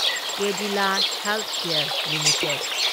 Cadila healthcare limited